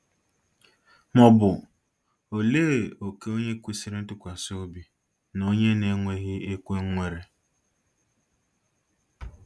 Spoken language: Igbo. Ma ọ bụ olee òkè onye kwesịrị ntụkwasị obi na onye na-ekweghị ekwe nwere?